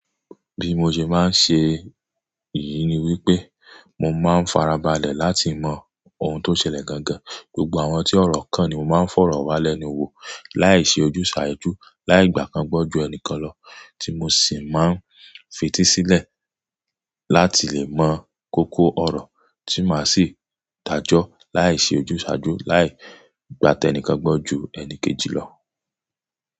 Bí mo ṣe máa ń ṣe èyí ni wípé mo máa ń farabalẹ̀ láti mọ ohun tó ṣẹlẹ̀ gangan. Gbogbo àwọn tí ọ̀rọ̀ kan ni mo máa ń fọ̀rọ̀ wá lẹ́nu wò láìṣe ojúsàájú láì gbà kan gbọ́ ju ẹni kan lọ tí mo sì máa ń fetísílẹ̀ láti lè mọ koko ọ̀rọ̀ tí màá sì dájọ́ láìṣe ojúsàájú láì gbà tẹ́nìkan gbọ́ ju ẹni kejì lọ.